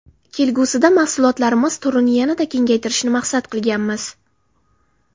Kelgusida mahsulotlarimiz turini yanada kengaytirishni maqsad qilganmiz.